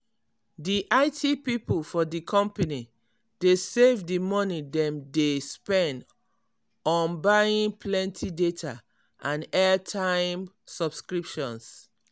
di it people for di company dey save di money dem dey spend on buying plenty data and airtime subscriptions.